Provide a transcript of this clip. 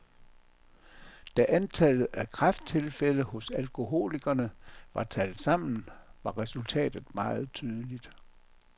Da antallet af kræfttilfælde hos alkoholikerne var talt sammen, var resultatet meget tydeligt.